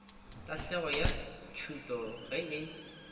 tahlegelo ya tšhuto ge e